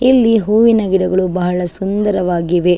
ಇಲ್ಲಿ ಹೂವಿನ ಗಿಡಗಳು ಬಹಳ ಸುಂದರವಾಗಿವೆ .